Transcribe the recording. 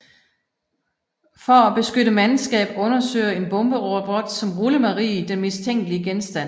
For at beskytte mandskab undersøger en bomberobot som Rullemarie den mistænkelige genstand